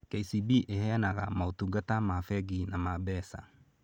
KCB ĩheanaga motungata ma bengi na ma mbeca.